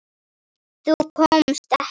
Þú komst ekki.